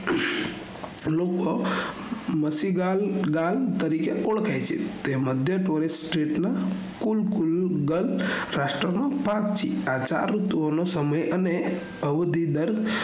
લોકો મસીગાલ ગાલ તરીકે ઓળખાય છે તે મઘ્ય tourist street ના કુલકુલ ગત રાષ્ટ્ર માં ભાગ છે આ ચાર ઋતુઓ નો સમય અને અવુધી દર